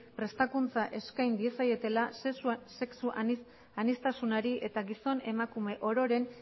prestakuntza eskain diezaiotela sexu aniztasunari eta gizon emakume ororen